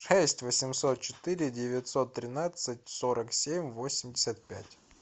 шесть восемьсот четыре девятьсот тринадцать сорок семь восемьдесят пять